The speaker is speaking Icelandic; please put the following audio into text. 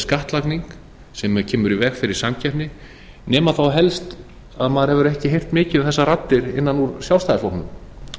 skattlagning sem kemur í veg fyrir samkeppni nema þá helst að maður hefur ekki heyrt mikið þessar raddir innan úr sjálfstæðisflokknum